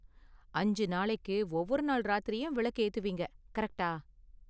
அஞ்சு நாளைக்கு ஒவ்வொரு நாள் ராத்திரியும் விளக்கு ஏத்துவீங்க, கரெக்ட்டா?